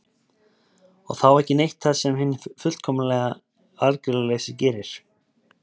Og þá ekki neitt það sem hinn fullkomlega aðgerðalausi gerir?